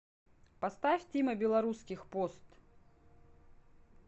поставь тима белорусских пост